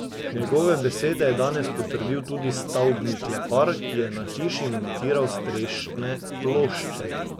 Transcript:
Njegove besede je danes potrdil tudi stavbni klepar, ki je na hiši montiral strešne plošče.